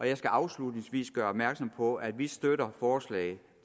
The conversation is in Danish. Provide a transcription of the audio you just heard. jeg skal afslutningsvis gøre opmærksom på at vi støtter forslaget